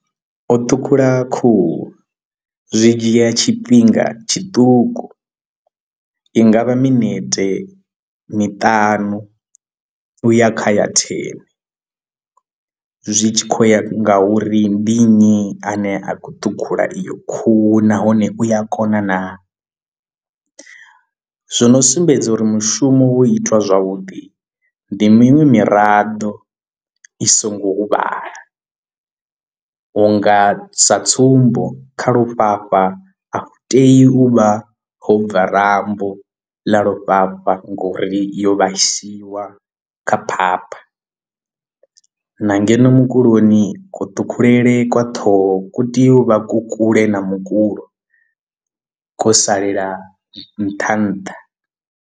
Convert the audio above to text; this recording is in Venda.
O ṱhukhula khuhu zwi dzhia tshifhinga tshiṱuku i ngavha minete miṱanu uya khaya thene zwi tshi khou ya nga uri ndi nnyi ane a khou ṱhukhula iyo khuhu nahone u ya kona naa zwo no sumbedza uri mushumo wo itiwa zwavhuḓi ndi miṅwe miraḓo i songo huvhala. Hu nga sa tsumbo kha lufhafha a tei u vha ho bva rambo ḽa lufhafha ngori yo vhaisiwa kha phapha na ngeno mukuloni kuṱhukhulele kwa ṱhoho ku tea u vha ku kule na mukulo khou salela nṱha nṱha.